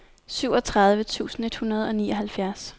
syvogtredive tusind et hundrede og nioghalvfjerds